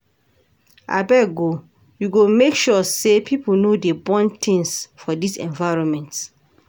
Abeg o, we go make sure sey pipo no dey burn tins for dis environment.